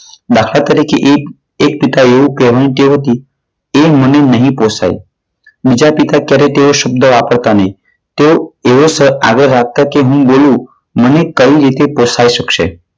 દાખલા તરીકે એક એક પિતાને એવું કહેવાની ટેવ હતી, તે મને નહીં પોસાય. બીજા પિતા ત્યારે તેઓ તે શબ્દ વાપરતા નહીં. તેઓ એવો આગળ રાષ્ટ્ર કે હું બોલું મને કઈ રીતે પોષાઈ શકશે?